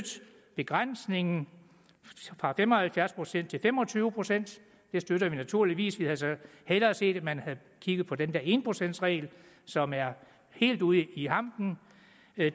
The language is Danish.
begrænsningen fra fem og halvfjerds procent til fem og tyve procent det støtter vi naturligvis vi havde så hellere set at man havde kigget på den der en procents regel som er helt ude i hampen